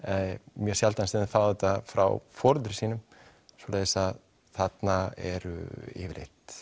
mjög sjaldan sem þau fá þetta frá foreldrum sínum svoleiðis að þarna eru yfirleitt